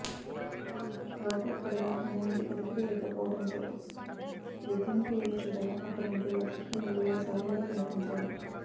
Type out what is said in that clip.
లోపల కూడదా ఎలాంటి అలికిడి లేకపోవడంతో బెడ్రూమ్కి వెళ్లి చూడగా అక్కడ ముగ్గురు రక్తపు మడుగులో శవాలుగా కనిపించారు